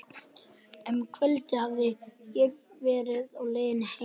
Fyrr um kvöldið hafði ég verið á leiðinni heim.